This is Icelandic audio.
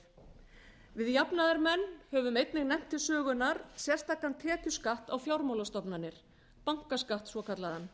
samfélagið við jafnaðarmenn höfum einnig nefnt til sögunnar sérstakan tekjuskatt á fjármálastofnanir bankaskatt svokallaðan